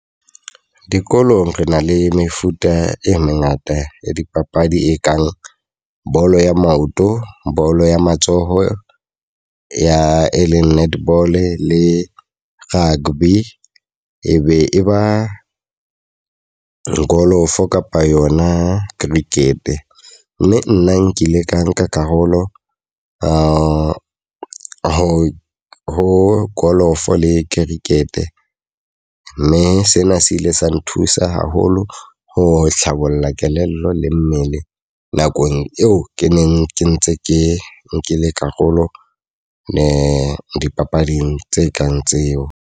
Dikolong, re na le mefuta e mengata ya dipapadi e kang bolo ya maoto, bolo ya matsoho ya e leng netball, le rugby, e be e ba golofo kapa yona cricket. Mme nna nkile ka nka karolo ho ho ho golofo le cricket. Mme sena se ile sa nthusa haholo ho hlabolla kelello le mmele nakong eo ke neng ke ntse ke nkile karolo di dipapading tse kang tseo.